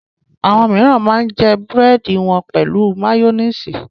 Àwọn mìíràn máa ń jẹ búrẹ́dì wọn pẹ̀lú máyónísì.